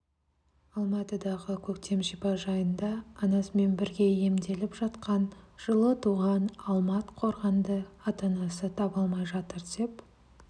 алматыдағы көктем шипажайында анасымен бірге емделіп жатқан жылы туған алмат қорғанды ата-анасы таба алмай жатыр деп